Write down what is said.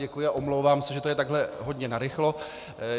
Děkuji a omlouvám se, že to je takhle hodně narychlo.